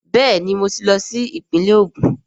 Bẹẹni, mo tí lo sí ìpínle Ogun